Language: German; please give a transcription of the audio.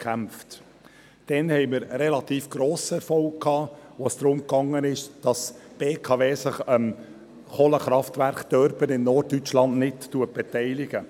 Damals hatten wir relativ grossen Erfolg, als es darum ging, dass sich die BKW nicht am Kohlekraftwerk Dörpen in Norddeutschland beteiligt.